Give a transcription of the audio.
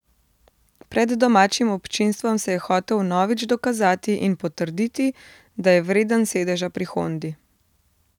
Pred domačim občinstvom se je hotel vnovič dokazati in potrditi, da je vreden sedeža pri Hondi.